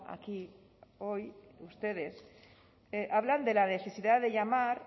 aquí hoy ustedes hablan de la necesidad de llamar